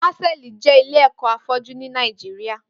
Pásẹlí jè ilé ẹkọ áfọjù ni Nàijiriá